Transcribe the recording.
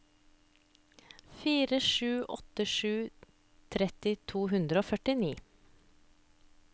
fire sju åtte sju tretti to hundre og førtini